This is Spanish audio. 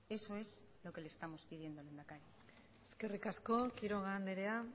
eso es lo que le estamos pidiendo lehendakari eskerrik asko quiroga andrea